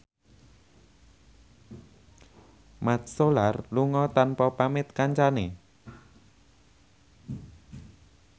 Mat Solar lunga tanpa pamit kancane